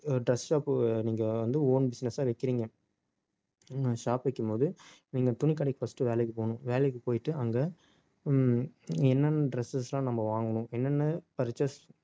dress shop நீங்க வந்து own business ஆ வைக்கிறீங்க shop வைக்கும்போது நீங்க துணிக்கடைக்கு first வேலைக்கு போகணும் வேலைக்கு போயிட்டு அங்க உம் என்னென்ன dresses எல்லாம் நம்ம வாங்கணும் என்னென்ன purchase